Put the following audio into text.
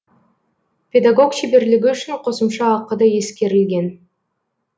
педагог шеберлігі үшін қосымша ақы да ескерілген